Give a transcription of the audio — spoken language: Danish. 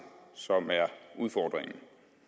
som er udfordringen